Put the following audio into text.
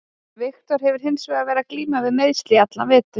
Viktor hefur hins vegar verið að glíma við meiðsli í allan vetur.